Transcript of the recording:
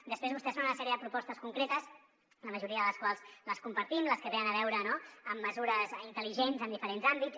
després vostès fan una sèrie de propostes concretes la majoria de les quals les compartim les que tenen a veure amb mesures intel·ligents en diferents àmbits